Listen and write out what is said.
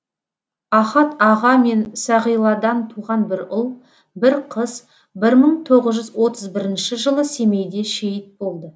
ахат аға мен сағиладан туған бір ұл бір қыз бір мың тоғыз жүз отыз бірінші жылы семейде шейіт болды